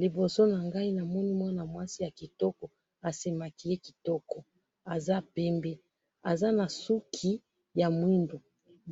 liboso na ngayi na moni mwana mwasi ya kitoko asemaquiller kitoko aza pembe aza na suki ya mwindu